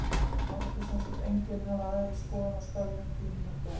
Mátti sem sagt enginn hafa aðra skoðun á störfum þínum en þú?